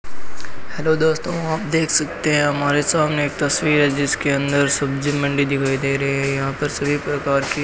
hello दोस्तों आप देख सकते हैं हमारे सामने एक तस्वीर है जिसके अंदर सब्जी मंडी दिखाई दे रहे हैं यहां पर सभी प्रकार की --